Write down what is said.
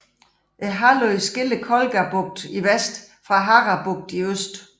Halvøen skiller Kolga bugten i vest fra Hara bugten i øst